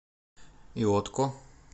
иотко